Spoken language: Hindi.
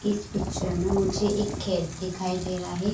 इस पिक्चर में मुझे एक खेत दिखाई दे रहा हे।